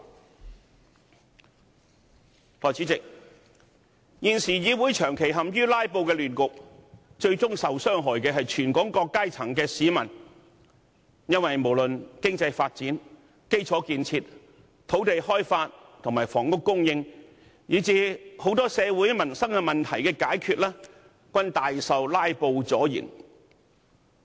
代理主席，現時議會長期陷於"拉布"的亂局，最終受害的是全港各階層的市民，因為不論是經濟發展、基礎建設、土地開發及房屋供應，以至許多社會民生問題的解決措施，均大受"拉布"阻延。